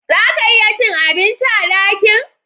Zaka iya cin abinci a dakin